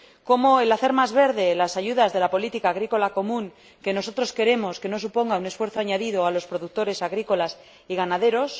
cómo hacer más verdes las ayudas de la Política Agrícola Común, proceso que nosotros queremos que no suponga un esfuerzo añadido para los productores agrícolas y ganaderos